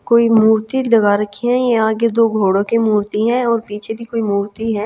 कोई मूर्ति दगा रखी है यहां के दो घोड़ों की मूर्ति है और पीछे भी कोई मूर्ति है।